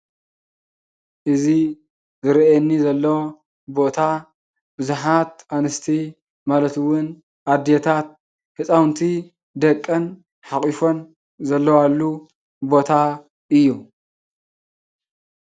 እዚ ዝረእየኒ ዘሎ ቦታ ብዛሓት አንስቲ ማለት እውን አዲታት ህፃውንቲ ደቀን ሓቚፈን ዘለዋሉ ቦታ እዩ፡፡